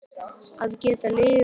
Að geta lifað.